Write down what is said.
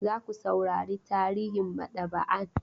Za ku saurari tarihin maɗaba'an?